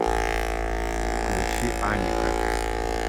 включи аника